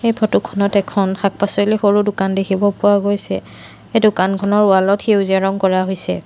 এই ফটোখনত এখন শাক পাচলিৰ সৰু দোকান দেখিব পোৱা গৈছে এই দোকানখনৰ ৱালত সেউজীয়া ৰং কৰা হৈছে।